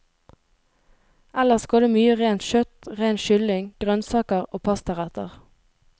Ellers går det mye rent kjøtt, ren kylling, grønnsaker og pastaretter.